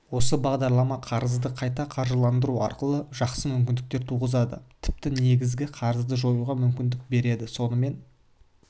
осы бағдарлама қарызды қайта қаржыландыру арқылы жақсы мүмкіндіктер туғызады тіпті негізгі қарызды жоюға мүмкіндік береді сонымен